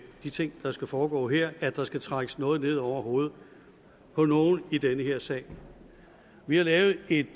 de ting der skal foregå her at der skal trækkes noget ned over hovedet på nogen i den her sag vi har lavet et